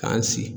K'an sigi